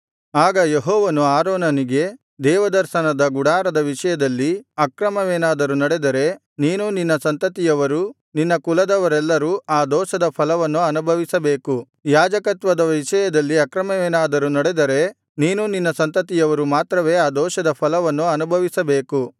ಆಗ ಯೆಹೋವನು ಆರೋನನಿಗೆ ದೇವದರ್ಶನದ ಗುಡಾರದ ವಿಷಯದಲ್ಲಿ ಅಕ್ರಮವೇನಾದರೂ ನಡೆದರೆ ನೀನೂ ನಿನ್ನ ಸಂತತಿಯವರೂ ನಿನ್ನ ಕುಲದವರೆಲ್ಲರೂ ಆ ದೋಷದ ಫಲವನ್ನು ಅನುಭವಿಸಬೇಕು ಯಾಜಕತ್ವದ ವಿಷಯದಲ್ಲಿ ಅಕ್ರಮವೇನಾದರೂ ನಡೆದರೆ ನೀನೂ ನಿನ್ನ ಸಂತತಿಯವರು ಮಾತ್ರವೇ ಆ ದೋಷದ ಫಲವನ್ನು ಅನುಭವಿಸಬೇಕು